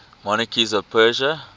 monarchs of persia